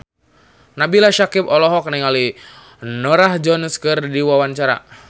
Nabila Syakieb olohok ningali Norah Jones keur diwawancara